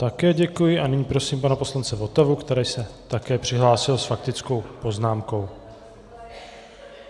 Také děkuji a nyní prosím pana poslance Votavu, který se také přihlásil s faktickou poznámkou.